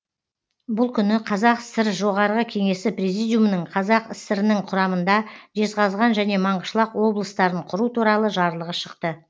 бұл күні қазақ сср жоғарғы кеңесі призидиумының қазақ сср інің құрамында жезқазған және маңғышлақ облыстарын құру туралы жарлығы шықты